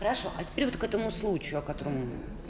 хорошо а теперь вот к этому случаю о котором